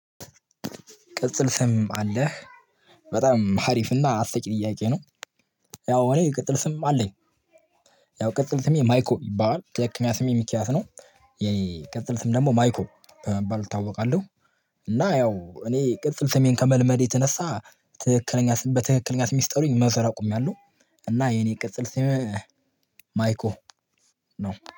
ቅጽል ስም አለህ በጣም አሪፍ እና አስቂኝ ጥያቄ ነው። ያው እኔ ቅጥል ስም አለኝ ያው ቅጥል ስሜ ማይኮ ይባላል ትክክለኛ ስሜ ሚኪያስ ነው የኔ ቅጥል ስም ደግሞ ማይኮ በመባል እታወቃለሁ። እና ያው እኔ ቅጽል ስሜን ከመልመዴ የተነሳ ትክክለኛ በትክክለኛ ስሜ ሲጠሩኝ መዞር አቁሚያለሁ እና የኔ ቅጽል ስሜ ማይኮ ነው